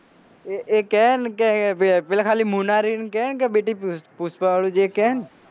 એ એ કહે ન કે પેલા પેલા ખાલી મુનાહારી ને કહે કે બેટી પુષ્પા વાળું જે કહે